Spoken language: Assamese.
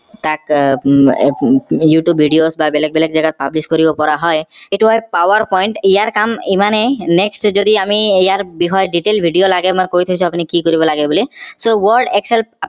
তাক উহ উম youtube videos বা বেলেগ বেলেগ জাগাত publish কৰিব পৰা হয় এইটো হল power point ইয়াৰ কাম ইমানেই next যদি আমি ইয়াৰ বিষয়ে detail video লাগে মই কৈ থৈছো আপুনি কি কৰিব লাগে বুলি so word excel